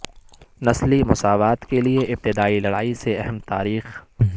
نسلی مساوات کے لئے ابتدائی لڑائی سے اہم تاریخ